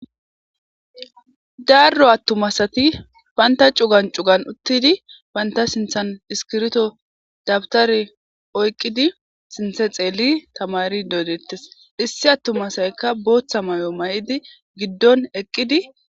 Daro attuma asati banta c'ugan c'ugan uttidi banta sinthan iskirtto dabutare oyqqidi sinththe xeeli taamarido deettes issi attuma asaykka boththa mayo maa'idi giddon eqqidi.